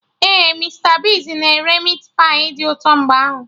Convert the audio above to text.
Ee, Mista Bigz na ere Meatpai dị ụtọ mgbe ahụ